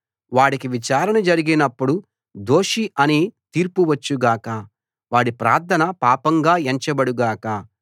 వాడికి విచారణ జరిగినప్పుడు దోషి అని తీర్పు వచ్చు గాక వాడి ప్రార్థన పాపంగా ఎంచబడు గాక